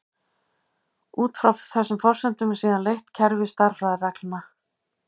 Út frá þessum forsendum er síðan leitt kerfi stærðfræðireglna.